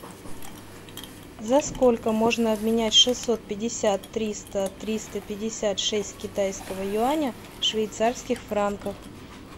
за сколько можно обменять шестьсот пятьдесят триста триста пятьдесят шесть китайского юаня в швейцарских франках